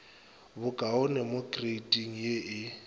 bokaone mo kreiting ye e